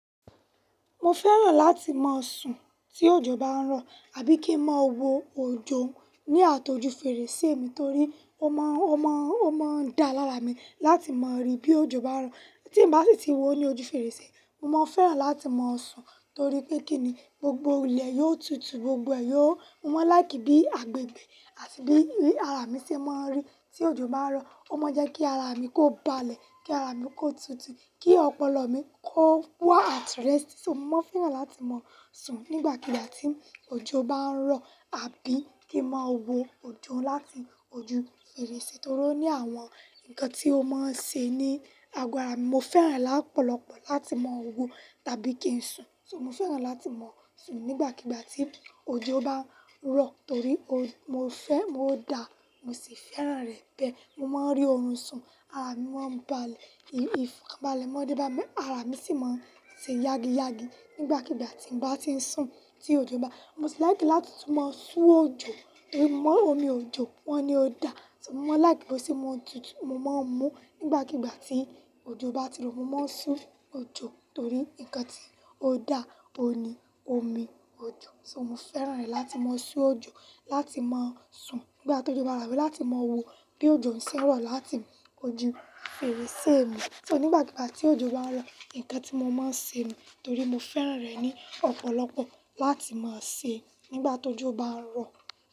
Mo fẹ́ràn láti máa sùn tí òjò bá ń rọ̀ àbí kí ń máa wo òjò ní àtojú fèrèsé mi torí ó má ń, ó má ń, ó má ń da lára mi láti máa rí bí òjò bá ń rọ̀. Tí n bá sì ti wo ní ojú fèrèsé, mo máa fẹ́ràn láti máa sùn torí pé kí ni gbogbo ilẹ̀ yóò tutù, gbogbo ẹ̀ yóò Mo máa láì kí bí agbègbè àti bí ara mi ṣe máa rí tí òjò bá ń rọ̀. Ó máa ń jẹ́ kí ara mi kó balẹ̀, kí ara mi kó tutù, kí ọpọlọ mi kó wà at rest. So mo máa fẹ́ràn láti máa sùn nígbàkigbà tí òjò bá ń rọ̀ àbí kí ń máa wo òjò láti ojú fèrèsé torí oní àwọn ǹkan tí ó máa ń ṣe ní ago ara mi. Mo fẹ́ràn lọ́pọ̀lọpọ̀ láti máa wo tàbí kí ń sùn. So mo fẹ́ràn láti máa sùn nígbàkigbà tí òjò bá ń rọ̀ torí ó, mo fẹ́, ó da, mo sì fẹ́ràn rẹ̀ bẹ́ẹ̀. Mo máa ń rí ohun sùn, ara mi máa ń balẹ̀, ìfọ̀kàbalẹ̀ máa ń dé bá mi, ara mi sì máa ń ṣe yági yági nígbàkigbà tí n bá ti ń sùn tí òjò bá Mo sì láì kí láti tún máa sú òjò, irú mọ́ omi òjò wọ́n ni ó da. So mo máa láì kí bó ṣe mọ tutù, mo máa ń mú nígbàkigbà tí òjò bá ti rọ̀. Mo máa ń sú òjò torí ǹkan tí ó da òní omi òjò. So mo fẹ́ràn rẹ̀ láti máa sú òjò, láti máa sùn nígbà tó jọba ràbí láti máa wo bí òjò ń ṣẹ́ rọ̀ láti ojú fèrèsé mi. So nígbàkigbà tí òjò bá ń rọ̀, ǹkan tí mo máa ń ṣe nù torí mo fẹ́ràn rẹ̀ ní ọ̀pọ̀lọpọ̀ láti máa ṣe nígbà tó jọ bá ń rọ̀.